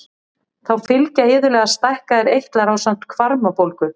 Þá fylgja iðulega stækkaðir eitlar ásamt hvarmabólgu.